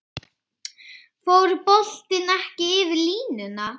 Fór boltinn ekki yfir línuna?